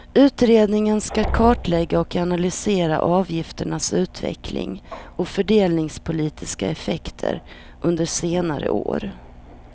Utredningen ska kartlägga och analysera avgifternas utveckling och fördelningspolitiska effekter under senare år.